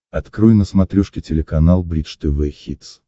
открой на смотрешке телеканал бридж тв хитс